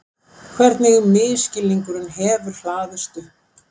Hvernig misskilningurinn hefur hlaðist upp.